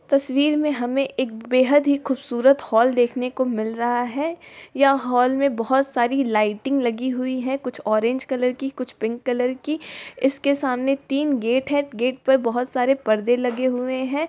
तस्वीर में हमें एक बेहद हीं खूबसूरत हॉल देखने को मिल रहा है यह हॉल में बहुत सारी लाइटिंग लगी हुई है कुछ ऑरेंज कलर की कुछ पिंक कलर की इसके सामने तीन गेट है गेट पर बहुत सारे पर्दे लगे हुए है।